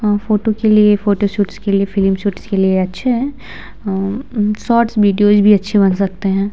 अ photo के लिए photo shoots के लिए फिल्मशूट्स के लिए अच्छे हैं उम्म शॉर्टस वीडियोज भी अच्छी बन सकते हैं।